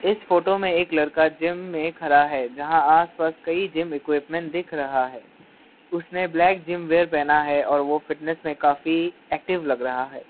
इस फोटो में एक लड़का जिम में खड़ा है जहां आस पास कई जिम इक्विपमेंट दिख रहा है उसने ब्लैक जिम वेयर पहना है और वो फिटनेस में काफी एक्टिव लग रहा है।